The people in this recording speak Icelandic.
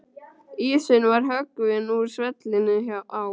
Ísinn var höggvinn úr svellinu á